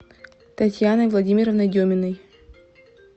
татьяной владимировной деминой